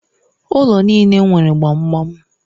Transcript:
Ụlọ niile nwere gbamgbam